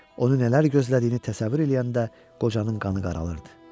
Onun nələr gözlədiyini təsəvvür eləyəndə qocanın qanı qaralırdı.